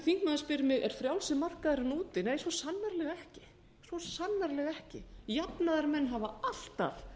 þingmaður spyr mig er frjálsi markaðurinn úti nei svo sannarlega ekki jafnaðarmenn hafa alltaf